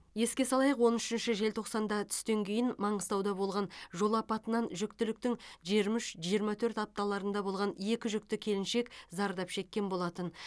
еске салайық он үшінші желтоқсанда түстен кейін маңғыстауда болған жол апатынан жүктіліктің жиырма үш жирырма төрт апталарында болған екі жүкті келіншек зардап шеккен болатын